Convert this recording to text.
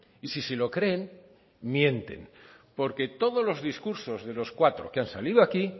y si se lo creen mienten porque todos los discursos de los cuatro que han salido aquí